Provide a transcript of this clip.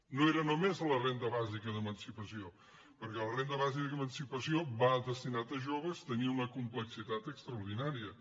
no era només a la renda bàsica d’emancipació perquè la renda bàsica d’emancipació va destinada a joves tenia una complexitat extraordinària